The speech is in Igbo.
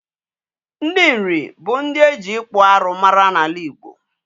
Ndị Nri bụ ndị eji ịkpụ arụ mara n'ala Igbo.